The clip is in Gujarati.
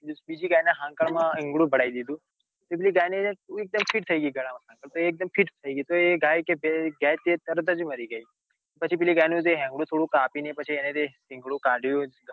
બીજી ગાય. ના હંકાળ માં આંગણું ભરાઈ દીધું તે પેલી ગાય ને એક ડેમ feet ગાળા માં થઇ ગઈ તો એ ગાય કે એ ગાય તરત જ મરી ગઈ પછી પેલી ગાય નું હિંગાડું થોડું કાપીને પછી એને શિંગડું કાડ્યું